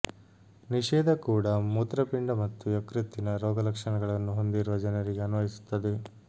ನಿಷೇಧ ಕೂಡ ಮೂತ್ರಪಿಂಡ ಮತ್ತು ಯಕೃತ್ತಿನ ರೋಗಲಕ್ಷಣಗಳನ್ನು ಹೊಂದಿರುವ ಜನರಿಗೆ ಅನ್ವಯಿಸುತ್ತದೆ